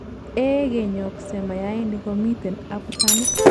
igenyokse mayainik komiten abutanik